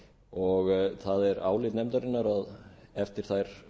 og það er álit nefndarinnar að eftir þær